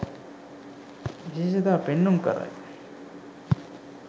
විශේෂතා පෙන්නුම් කරයි